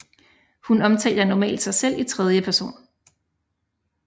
Hun omtaler normalt sig selv i tredje person